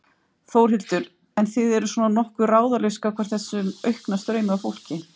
Þórhildur: En þið eru svona nokkuð ráðalaus gagnvart þessum aukna straumi af fólki?